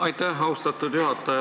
Aitäh, austatud juhataja!